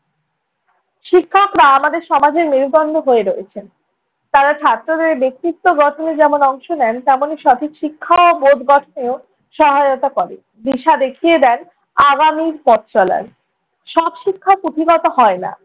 শিক্ষকরা আমাদের সমাজের মেরুদণ্ড হয়ে রয়েছেন। তাঁরা ছাত্রদের ব্যক্তিত্ব গঠনে যেমন অংশ নেন, তেমনি সঠিক শিক্ষা ও বোধ গঠনেও সহায়তা করেন। দিশা দেখিয়ে দেন আগামীর পথ চলার। সব শিক্ষা পুঁথিগত হয় না।